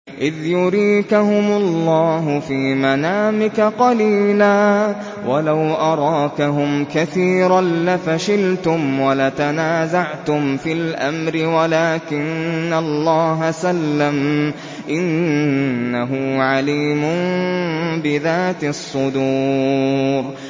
إِذْ يُرِيكَهُمُ اللَّهُ فِي مَنَامِكَ قَلِيلًا ۖ وَلَوْ أَرَاكَهُمْ كَثِيرًا لَّفَشِلْتُمْ وَلَتَنَازَعْتُمْ فِي الْأَمْرِ وَلَٰكِنَّ اللَّهَ سَلَّمَ ۗ إِنَّهُ عَلِيمٌ بِذَاتِ الصُّدُورِ